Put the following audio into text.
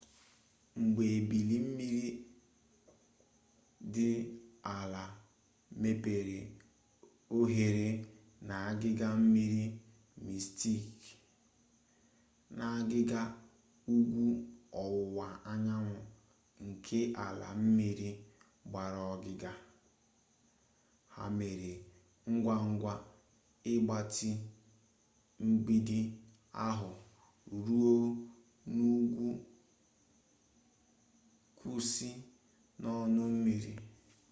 mgbe ebili mmiri dị ala mepere oghere n'agịga mmiri mistik n'agịga ugwu ọwụwa anyanwụ nke ala mmiri gbara ogige ha mere ngwangwa ịgbatị mgbidi ahụ ruo n'ugwu kwụsị n'ọnụ mmiri